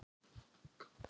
Fer hjá sér.